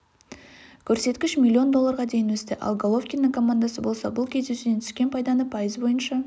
көрсеткіш миллион долларға дейін өсті ал головкиннің командасы болса бұл кездесуден түскен пайданы пайыз бойынша